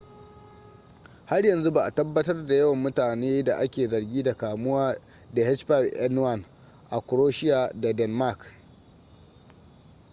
har yanzu ba’a tabbatar da yawan mutane da ake zargi da kamuwa da h5n1 a croatia da denmark